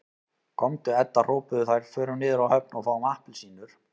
Komdu Edda hrópuðu þær, förum niður á höfn og fáum APPELSÍNUR